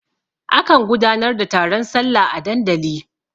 A kan gudanar da taron sallah a dandali.